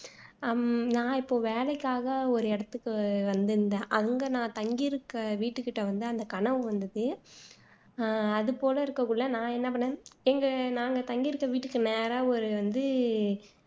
ஹம் நான் இப்போ வேலைக்காக ஒரு இடத்துக்கு வந்துருந்தேன் அங்க நான் தங்கியிருக்க வீட்டுக்கிட்ட வந்து அந்த கனவு வந்துது அது போல இருக்ககுள்ள நான் என்ன பண்ணேன் எங்க நாங்க தங்கியிருக்க வீட்டுக்கு நேரா வந்து